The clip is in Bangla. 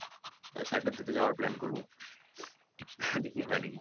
Saturday তে যাওয়ার plan করবো দেখি হয় নাকি